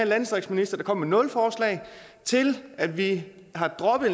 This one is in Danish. landdistriktsminister der kom med nul forslag til at vi har droppet